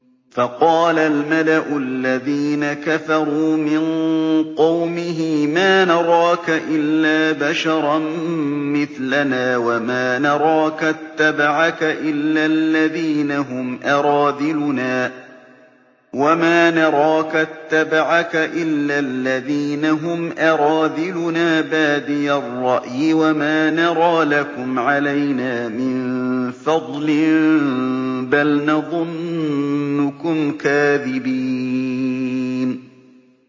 فَقَالَ الْمَلَأُ الَّذِينَ كَفَرُوا مِن قَوْمِهِ مَا نَرَاكَ إِلَّا بَشَرًا مِّثْلَنَا وَمَا نَرَاكَ اتَّبَعَكَ إِلَّا الَّذِينَ هُمْ أَرَاذِلُنَا بَادِيَ الرَّأْيِ وَمَا نَرَىٰ لَكُمْ عَلَيْنَا مِن فَضْلٍ بَلْ نَظُنُّكُمْ كَاذِبِينَ